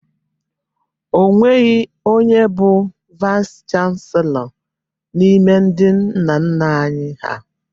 O nweghi onye bụ Vaịsị chanselọ n'ime ndị nna nna anyị ha.